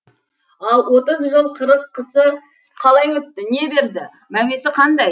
ал отыз жыл қырық қысы қалай өтті не берді мәуесі қандай